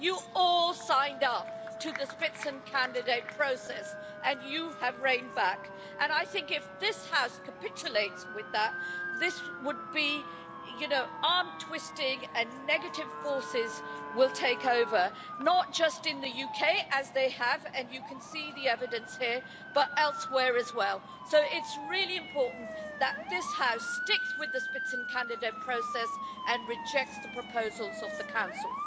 You all signed up to the spitzenkandidat process and you have reined back and I think if this House capitulates with that, this would be, you know, arm twisting, and negative forces will take over, not just in the UK as they have, and you can see the evidence here, but elsewhere as well, so it's really important that this House sticks with the spitzenkandidat process and rejects the proposals of the Council.